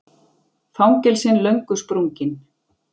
Fangelsin löngu sprungin